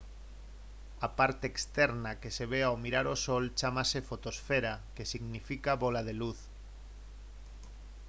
a parte externa que se ve ao mirar o sol chámase fotosfera que significa «bóla de luz»